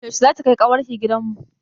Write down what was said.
Yaushe za ki kai ƙawar ki gidan mu?